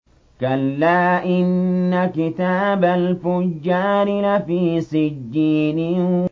كَلَّا إِنَّ كِتَابَ الْفُجَّارِ لَفِي سِجِّينٍ